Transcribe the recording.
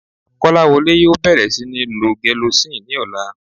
Kọ́láwọlé yóò bẹ̀rẹ̀ sí níí lo gelocin ní ọ̀la